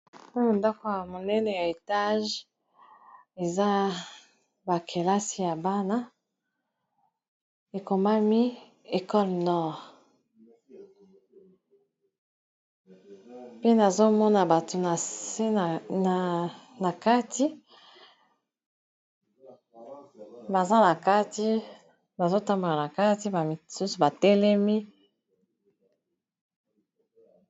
awa ndako ya monene ya etage eza bakelasi ya bana ekomami ekole nor pe nazomona bato na se na kati ktbazotambola na kati ba misusu batelemi